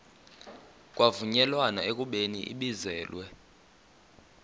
kwavunyelwana ekubeni ibizelwe